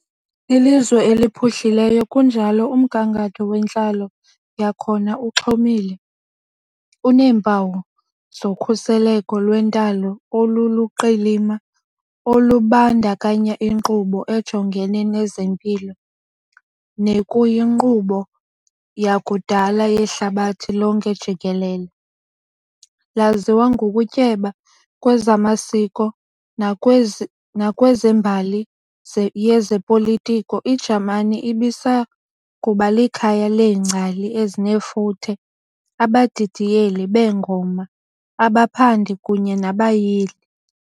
Lilizwe eliphuhlileyo kunjalo umgangatho wentlalo yakhona uxhomile, uneempawu zokhuseleko lwentalo oluluqilima olubandakanya inkqubo ejongene nezempilo nekuyinkqubo yakudala yehlabathi lonke jikelele. Laziwa ngokutyeba kwezamasiko nakwezembali yezopolitiko, iJamani ibisakuba likhaya leengcali ezinefuthe, abadidiyeli beengoma, abaphandi, kunye nabayili.